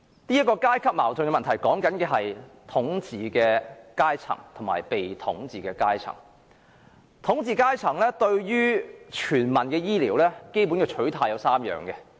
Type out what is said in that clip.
所謂階級矛盾是指統治階層及被統治階層，而統治階層對全民醫療服務的基本取態有三。